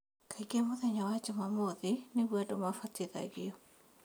Kaingĩ mũthenya wa jumamuothi nĩguo andũ mabatithagio